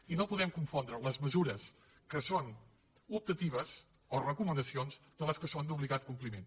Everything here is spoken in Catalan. i no podem confondre les mesures que són optatives o recomanacions de les que són d’obligat compliment